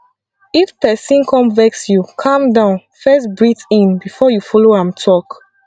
if pesin come vex you calm down first breathe in before you follow am talk